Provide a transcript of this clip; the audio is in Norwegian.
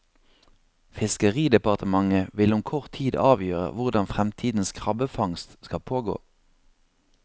Fiskeridepartementet vil om kort tid avgjøre hvordan fremtidens krabbefangst skal pågå.